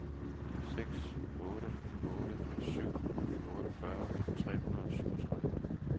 seks otte otte syv otteogfyrre tre hundrede og syvogtredive